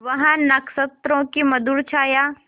वह नक्षत्रों की मधुर छाया